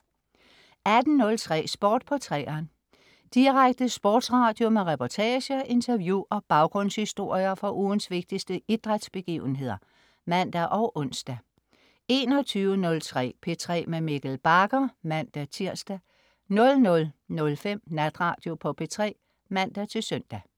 18.03 Sport på 3'eren. Direkte sportsradio med reportager, interview og baggrundshistorier fra ugens vigtigste idrætsbegivenheder (man og ons) 21.03 P3 med Mikkel Bagger (man-tirs) 00.05 Natradio på P3 (man-søn)